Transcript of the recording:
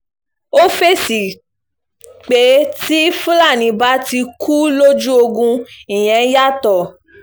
ó fèsì pé tí fúlàní bá kú lójú ogun ìyẹn yàtọ̀